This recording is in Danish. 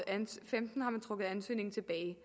ansøgningen tilbage